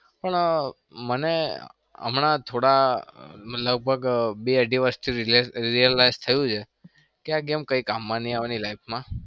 પણ મને થોડા લગભગ બે અઢી વર્ષથી realise થયું છે કે આ game કઈ કામમાં નહિ આવાની life માં.